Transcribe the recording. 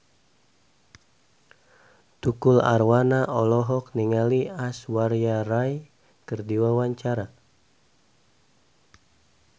Tukul Arwana olohok ningali Aishwarya Rai keur diwawancara